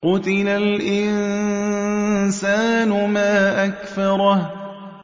قُتِلَ الْإِنسَانُ مَا أَكْفَرَهُ